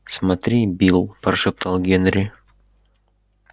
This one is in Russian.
смотри билл прошептал генри